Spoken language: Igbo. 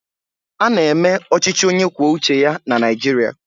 Ána eme ọchịchị onye kwuo uche ya na Naịjirịa